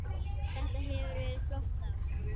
Þetta hefur verið flott ár.